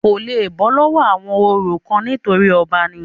kò le bọ́ lọ́wọ́ àwọn orò kan nítorí ọba ni